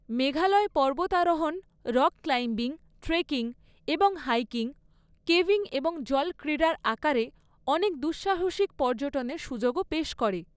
মেঘালয় পর্বতারোহণ, rock climbing, trekking এবং hiking, caving এবং জল ক্রীড়ার আকারে অনেক দুঃসাহসিক পর্যটনের সুযোগও পেশ করে।